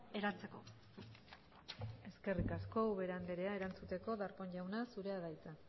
eratzeko eskerrik asko ubera andrea erantzuteko darpón jauna zurea da hitza